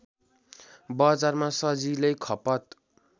बजारमा सजिलै खपत